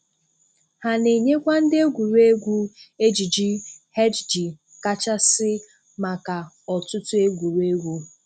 Ha na-enyekwa ndị egwuregwu ejiji HD kachasị maka ọtụtụ egwuregwu.